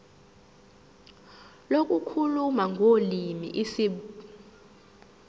lokukhuluma ngolimi isib